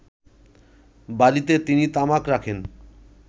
বাড়ীতে তিনি তামাক রাখেন